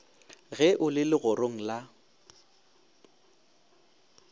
ge o le legorong la